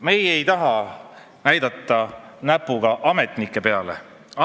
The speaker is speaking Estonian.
Meie ei taha näpuga ametnike peale näidata.